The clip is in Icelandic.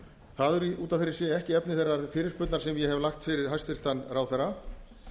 það er út af fyrir sig ekki efni þeirrar fyrirspurnar sem ég hef lagt fyrir hæstvirtan ráðherra